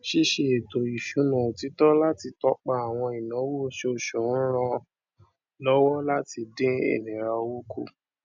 ṣíṣe ètò ìṣúná òtítọ láti tọpa àwọn ináwó oṣooṣù ń ràn lówọ láti dín ìnira owó kù